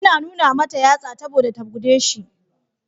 Ya nuna mta yatsa saboda ta guje shi.